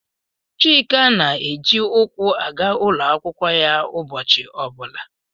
Chika na-eji ụkwụ aga ụlọ akwụkwọ ya ụbọchị ọ bụla.